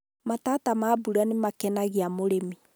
matata ma mbura nĩ makenagia mũrĩmi